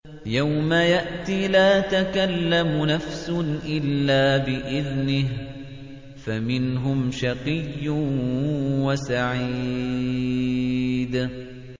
يَوْمَ يَأْتِ لَا تَكَلَّمُ نَفْسٌ إِلَّا بِإِذْنِهِ ۚ فَمِنْهُمْ شَقِيٌّ وَسَعِيدٌ